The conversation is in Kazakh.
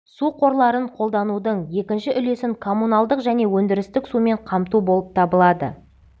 су қорларын қолданудың екінші үлесін коммуналдық және өндірістік сумен қамту болып табылады